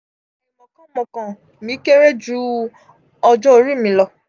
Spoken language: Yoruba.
aimokan mokan mi kere ju ọjọ ori mi lọ.